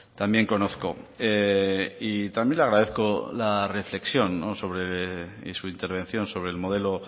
también conozco y también le agradezco la reflexión sobre y su intervención sobre el modelo